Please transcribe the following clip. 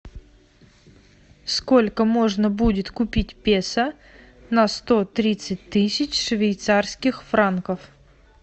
сколько можно будет купить песо на сто тридцать тысяч швейцарских франков